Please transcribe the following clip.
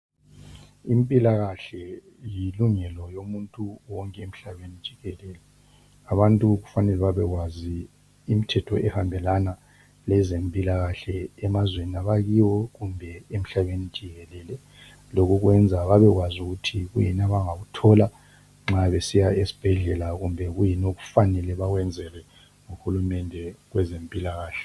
Impilakahle yilungelo yomuntu wonke emhlabeni jikelele. Abantu kufanele babekwazi imithetho ehambelana lezempilakahle emazweni abakiwo kumbe emhlabeni jikelele, lokokwenza, babekwazi ukuthi kuyini abangakuthola nxa besiya esibhedlela kumbe kuyini okufanele bakwenzelwe nguhulumende kwezempilakahle.